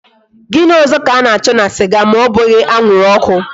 Gini ozo ka a na cho na siga ma obughi anwuru oku?